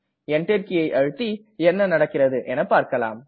Enter கீயை அழுத்தி என்ன நடக்கிறது என்று பார்க்கலாம்